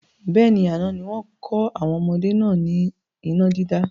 Bẹ́ẹ̀ni, àná ni wọn kọ́ àwọn ọmọdé náà ni iná dídá